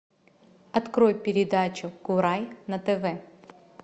открой передачу курай на тв